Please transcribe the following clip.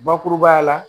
Bakurubaya la